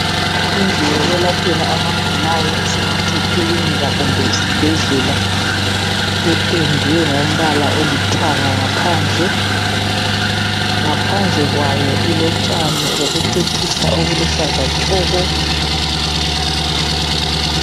Endlini yokwelaphela abagulayo esingathi yikilinika kumbe isibhedlela ependwe ngombala olithanga ngaphandle. Ngaphandle kwayo ilotshani bokucecisa obuluhlaza tshoko.